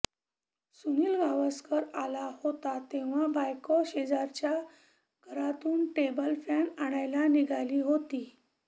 सुनील गावसकर आला होता तेव्हा बायको शेजारच्या घरातून टेबल फॅन आणायला निघाली होती